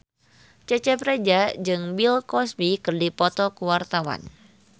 Cecep Reza jeung Bill Cosby keur dipoto ku wartawan